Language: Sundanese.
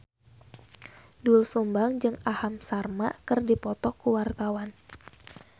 Doel Sumbang jeung Aham Sharma keur dipoto ku wartawan